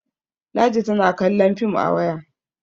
ladi tana kallon fim a waya